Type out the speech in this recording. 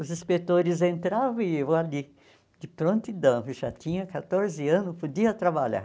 Os inspetores entravam e eu ali, de prontidão, já tinha quatorze anos, podia trabalhar.